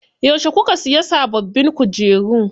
Yauce kuka siya sababbin kujeru?